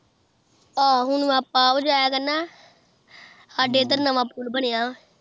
ਆਹੋ ਹੁਣ ਆਪਾਂ ਵੀ ਜਾਇਆ ਕਰਨਾ ਸਾਡੇ ਇੱਧਰ ਨਵਾਂ ਪੂਲ ਬਣਿਆ